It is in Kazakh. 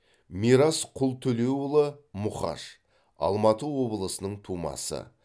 мирас құлтөлеуұлы мұқаш алматы облысының тумасы